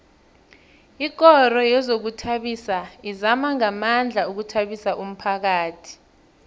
ikoro yezokuzithabisa izama ngamandla ukuthabisa umphakhathi